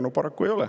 Aga paraku ei ole.